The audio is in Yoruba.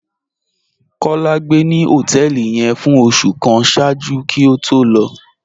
Kọ́lá gbé ni họtẹẹlì yẹn fún ọṣù kàn ṣáàjú kí ó tó lọ